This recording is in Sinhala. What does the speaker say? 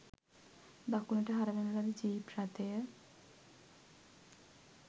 දකුණට හරවන ලද ජීප් රථය